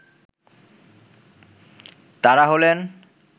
তারা হলেন